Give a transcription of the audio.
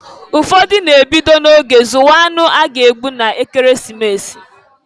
Ụfọdụ na-ebido na-oge zụwa anụ a ga-egbu n'Ekeresimesi.